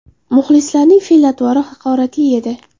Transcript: Muxlislarning fe’l-atvori haqoratli edi.